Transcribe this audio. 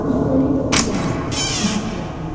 Üstəlik də bu dar, köhnə pilləkən.